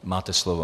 Máte slovo.